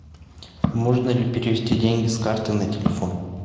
можно ли перевести деньги с карты на телефон